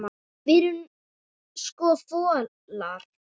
Við erum sko folar.